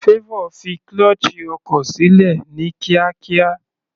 Favour fi clutche ọkọ̀ sílẹ̀ ní kíákíá.